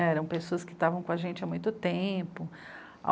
Eram pessoas que estavam com a gente há muito tempo.